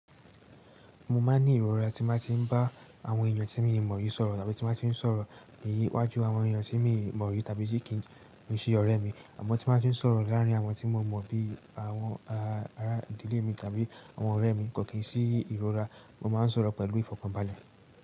Mo máa ń ní ìrora tí mo bá ti ń bá àwọn èèyàn tí mi ò mọ̀ rii sọ̀rọ̀, tàbí tí mo bá ti ń sọ̀rọ̀ ní iwájú àwọn èèyàn tí mi ò mọ̀ rìí tàbí tí kì í ṣe ọ̀rẹ́ mi. Àmọ́ tí mo bá ti ń sọ̀rọ̀ láàárín àwọn tí mo mọ̀ bíi àwọn ará ìdílé mi tàbí àwọn ọ̀rẹ́ mi kò kí n sí ìrora, mo máa ń sọ̀rọ̀ pẹ̀lú ìfọ̀kànbalẹ̀.